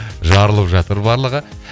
жарылып жатыр барлығы